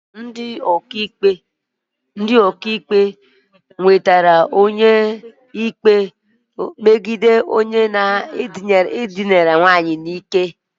Ndị ọka iwu nwetara ikpe megide onye dinara mmadụ n'ike